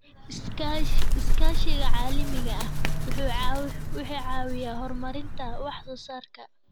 Iskaashiga caalamiga ah wuxuu caawiyaa horumarinta wax soo saarka.